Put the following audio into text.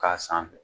K'a sanfɛ